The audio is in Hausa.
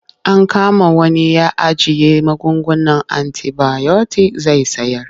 An kama wani ya ajiye magungunan antibayotik zai sayar.